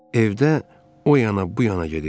Evdə o yana, bu yana gedirdi.